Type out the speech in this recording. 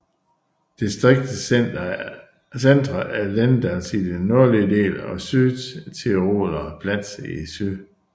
Distriktets centre er Lendplatz i den nordlige del og Südtiroler Platz i syd